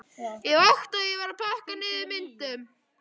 Ég vakti og var að pakka niður myndunum.